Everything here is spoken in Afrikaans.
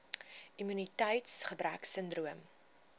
immuniteits gebrek sindroom